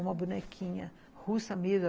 Uma bonequinha russa mesmo.